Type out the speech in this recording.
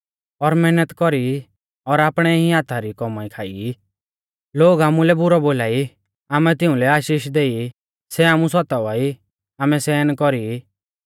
और मैहनत कौरी ई और आपणै ई हाथा री कौमाई खाई ई लोग आमुलै बुरौ बोलाई आमै तिउंलै आशीष देई ई सै आमु सतावा ई आमै सहन कौरी ई